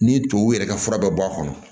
Ni tubabu yɛrɛ ka fura bɛ bɔ a kɔnɔ